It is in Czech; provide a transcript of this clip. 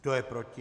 Kdo je proti?